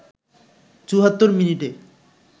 ৭৪ মিনিটে